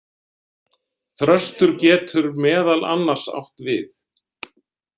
Þröstur getur meðal annars átt við.